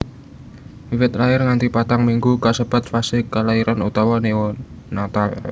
Wiwit lair nganti patang minggu kasebat fase klairan utawa neonatal